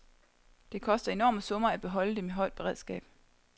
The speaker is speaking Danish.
Det koster enorme summer at holde dem i højt beredskab.